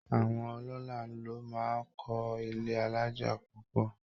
Àwọn ọlọ́lá ló máa ń kọ́ ilé alájà púpọ̀